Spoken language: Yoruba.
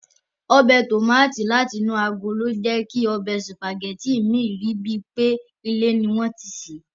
Ọbẹ̀ Tòmátì láti inú agolo jẹ́ kí ọbẹ̀ Sùpàgẹ́tì mi rí bíi pé ilé ni wọ́n ti sè é